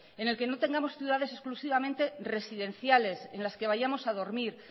donde no tengamos ciudades exclusivamente residenciales en las que vayamos a dormir